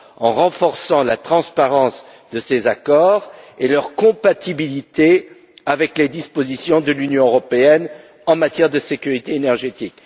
en renforçant la transparence de ces accords et leur compatibilité avec les dispositions de l'UE en matière de sécurité énergétique.